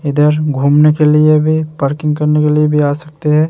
इधर घूमने के लिए भी पार्किंग करने के लिए भी आ सकते हैं।